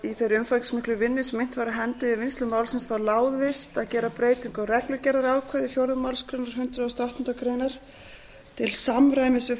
í þeirri umfangsmiklu vinnu sem innt var af hendi við vinnslu málsins láðist að gera breytingu á reglugerðarákvæði fjórðu málsgrein hundrað og áttundu greinar til samræmis við